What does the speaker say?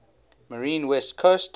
marine west coast